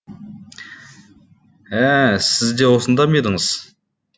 ә сіз де осында ма едіңіз